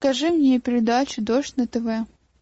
покажи мне передачу дождь на тв